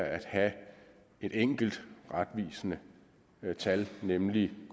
at have et enkelt retvisende tal nemlig